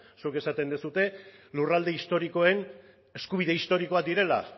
zuek esaten duzue lurralde historikoen eskubide historikoak direla